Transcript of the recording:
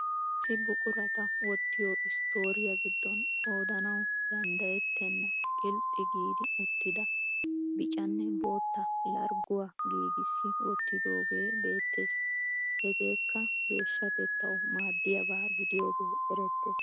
Issi buquratta wottiyo stooriya gidoon qoodanawu danddayetta qilxxi giidi uttida biccanne boottaa largguwaa giigissi wottidoogew beettees. Hageekka geeshshatettawu maaddiyabaa gidiyoogee erettees.